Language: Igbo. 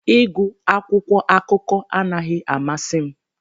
Ịgụ akwụkwọ akụkọ anaghị amasị m